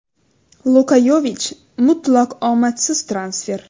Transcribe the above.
Luka Yovich mutlaq omadsiz transfer.